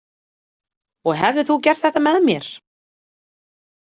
Og hefðir þú gert þetta með mér?